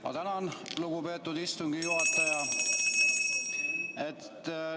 Ma tänan, lugupeetud istungi juhataja!